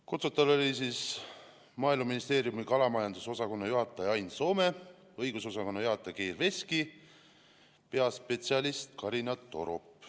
Kutsutud oli Maaeluministeeriumi kalamajandusosakonna juhataja Ain Soome, õigusosakonna juhataja Geir Veski ja peaspetsialist Karina Torop.